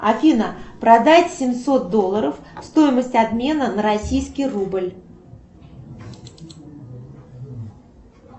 афина продать семьсот долларов стоимость обмена на российский рубль